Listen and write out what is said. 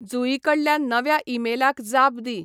जुईकडल्या नव्या ईमेलाक जाप दी